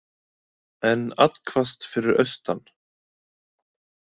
Enn allhvasst fyrir austan